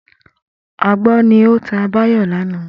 Agbọ́n ni ó ta Báyọ̀ lánàá